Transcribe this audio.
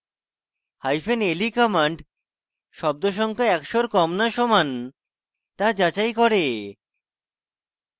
hyphen le command শব্দ সংখ্যা একশোর কম le সমান le যাচাই করে